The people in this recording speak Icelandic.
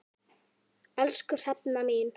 Elsku Hrefna mín.